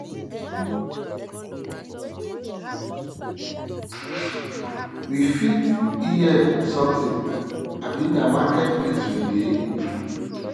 we fit hear something abi na market place we dey